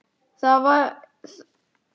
Þær væru eins og guð.